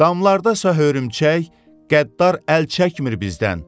Damlarda isə hörümçək qəddar əl çəkmir bizdən.